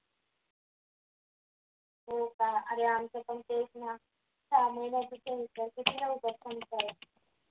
हो का अरे आमचं पण तेच ना